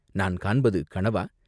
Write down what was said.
நான் காண்பது கனவா?